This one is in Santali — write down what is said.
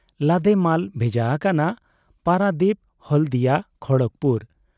ᱞᱟᱫᱮ ᱢᱟᱞ ᱵᱷᱮᱡᱟ ᱟᱠᱟᱱᱟ ᱯᱟᱨᱟᱫᱤᱯ, ᱦᱚᱞᱫᱤᱭᱟ, ᱠᱷᱚᱲᱚᱜᱽᱯᱩᱨ ᱾